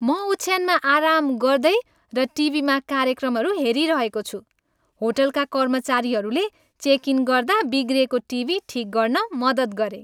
म ओछ्यानमा आराम गर्दै र टिभीमा कार्यक्रमहरू हेरिरहेको छु। होटलका कर्मचारीहरूले चेक इन गर्दा बिग्रिएको टिभी ठिक गर्न मद्दत गरे।